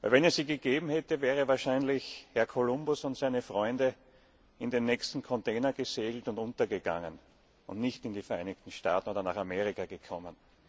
Wenn es sie gegeben hätte, wären wahrscheinlich Herr Kolumbus und seine Freunde in den nächsten Container gesegelt und untergegangen und nicht in die Vereinigten Staaten oder nach Amerika gekommen.